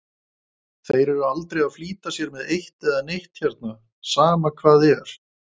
Þeir eru aldrei að flýta sér með eitt né neitt hérna, sama hvað er.